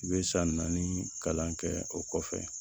I bɛ san naani kalan kɛ o kɔfɛ